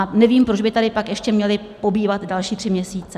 A nevím, proč by tady pak ještě měli pobývat další tři měsíce.